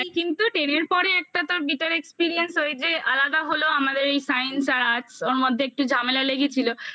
আর কিন্তু ten এর পরে একটা তার bitter experience হচ্ছে ওই যে আলাদা হলো আমাদের এই science আর arts ওর মধ্যে একটু ঝামেলা লেগেছিলো